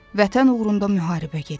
Vətən uğrunda müharibə gedirdi.